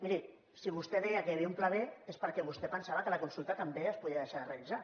miri si vostè deia que hi havia un pla b és perquè vostè pensava que la consulta també es podia deixar de realitzar